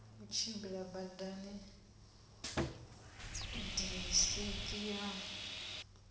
u tshimbila badani disiki ya